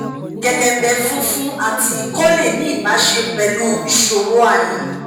kelembe funfun ati ikọ le ni ibase pelu isoro aya